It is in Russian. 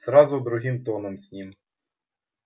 сразу другим тоном с ним